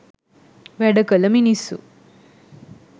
වැඩ කළ මිනිස්සු